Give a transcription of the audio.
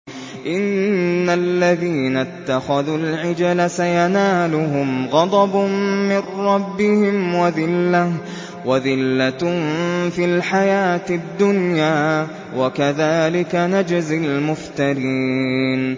إِنَّ الَّذِينَ اتَّخَذُوا الْعِجْلَ سَيَنَالُهُمْ غَضَبٌ مِّن رَّبِّهِمْ وَذِلَّةٌ فِي الْحَيَاةِ الدُّنْيَا ۚ وَكَذَٰلِكَ نَجْزِي الْمُفْتَرِينَ